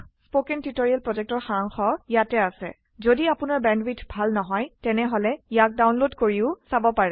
কথন শিক্ষণ প্ৰকল্পৰ সাৰাংশ ইয়াত আছে যদি আপোনাৰ বেণ্ডৱিডথ ভাল নহয় তেনেহলে ইয়াক ডাউনলোড কৰি চাব পাৰে